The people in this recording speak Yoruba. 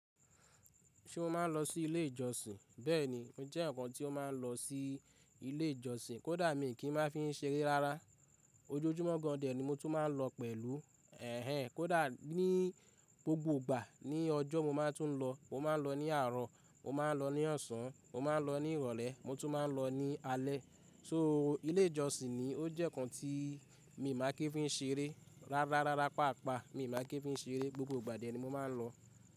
Ṣé mo máa ń lọ sí ilé ìjọsìn? Bẹ́ẹ̀ni, emi jẹ́ eyan kan tí o máa ń lọ sí ilé ìjọsìn. Kódà mi kì í máa fi í ṣeré rárá. Ojúọjúmọ́ gan an dè ni mo tún máa ń lọ pẹ̀lú. Ẹ̀hẹn, kódà ní gbogbo gbà ní ọjọ́ mo máa tún lọ. Mo máa ń lọ ní àárọ̀, mo máa ń lọ ní ọ̀sán, mo máa ń lọ ní ìrọ̀lẹ́, mo tún máa ń lọ ní alẹ́. So ilé ìjọsìn ni ó jẹ́ ǹkan tí mi maa kí ń fi ṣeré rárá, rárá, pàápàá mi ma kí ń fi í ṣeré. Gbogbo ìgbà dè ni mo máa ń lọ.